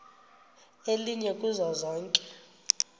elinye kuzo zonke